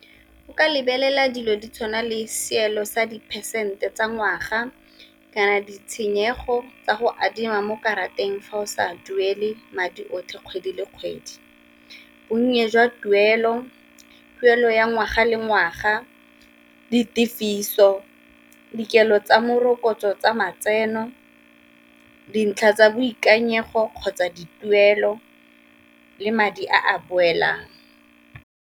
O ka lebelela dilo di tshwana le seelo sa di percent tsa ngwaga, kana ditshenyego tsa go adima mo karateng fa o sa duele madi otlhe kgwedi le kgwedi. Bonnye jwa tuelo, tuelo ya ngwaga le ngwaga, ditefiso, dikelo tsa morokotso tsa matseno, dintlha tsa boikanyego kgotsa dituelo, le madi a a boelang.